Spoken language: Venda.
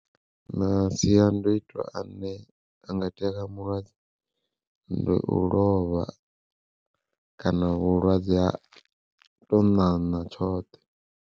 Masiandoitwa ane a nga itea kha mulwadze, ndi u lovha kana vhulwadze ha tou ṋaṋa tshoṱhe.